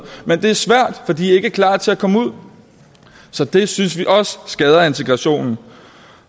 men det er svært fordi de er ikke klar til at komme ud så det synes vi også skader integrationen